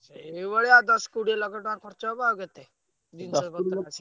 ସେଇଭଳିଆ ଦଶ କୋଡିଏ ଲକ୍ଷେ ଟଙ୍କା ଖର୍ଚ ହବ ଆଉ କେତେ।